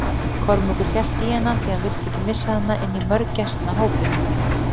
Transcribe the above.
Kormákur hélt í hana því hann vildi ekki missa hana inn í mörgæsnahópinn.